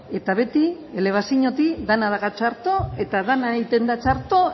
eta beti elebaziotik dena dago txarto eta dena egiten da txarto